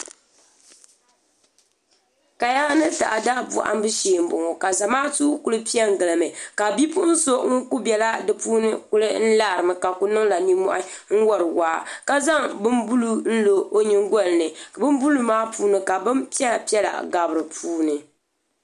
Kaya ni taada bohambu shee n boŋo ka zamaatu ku piɛ n gilimi ka bipuɣun so ŋun kuli biɛla di puuni ku larimi ka kuniŋla nimmohi n wori waa ka zaŋla bin buluu n lo o nyingolini bin buluu maa puuni ka bin piɛla piɛla bɛ dinni